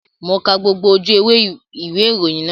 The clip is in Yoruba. Mo ka gbogbo ojú ewé ìwé ìròyìn náà